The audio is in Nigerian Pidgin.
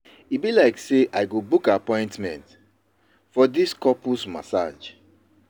E be like sey I go book appointment for di couples massage.